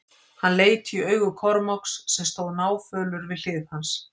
Hann leit í augu Kormáks sem stóð náfölur við hlið hans.